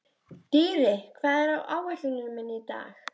Dýri, hvað er á áætluninni minni í dag?